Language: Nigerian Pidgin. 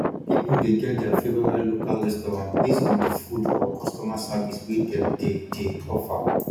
pipo de get their favorite local restaurant based on di food or customer service wey dem de de offer